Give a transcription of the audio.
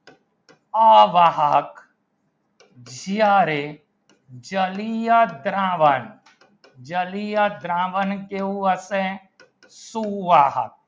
અવાહક જ્યારે ચલી યા દ્રાવણ જલીય દ્રાવણ કેવું હશે શું વાહક